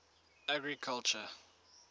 agriculture